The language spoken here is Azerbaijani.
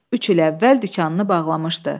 Üç il əvvəl dükanını bağlamışdı.